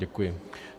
Děkuji.